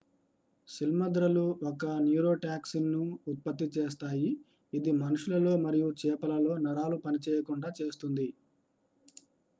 సిల్మద్రలు ఒక న్యూరోటాక్సిన్ను ఉత్పత్తి చేస్తాయి ఇది మనుషులలో మరియు చేపలలో నరాలు పనిచేయకుండా చేస్తుంది